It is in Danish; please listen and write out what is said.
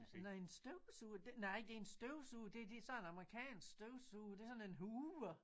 Nåh en støvsuger det nej det en støvsuger det det sådan amerikansk støvsuger det sådan en hoover